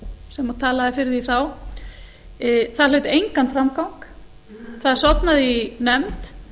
sem talaði fyrir því þá það hlaut engan framgang það sofnaði í nefnd